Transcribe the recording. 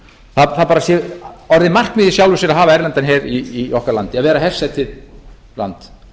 það bara sé orðið markmið í sjálfu sér að hafa erlendan hér í okkar landi að vera hersetið land